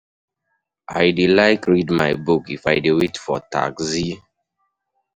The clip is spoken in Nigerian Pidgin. I dey like read my book if I dey wait for taxi.